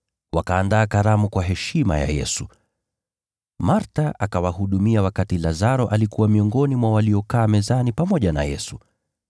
Wakaandaa karamu kwa heshima ya Yesu. Martha akawahudumia wakati Lazaro alikuwa miongoni mwa waliokaa mezani pamoja na Yesu.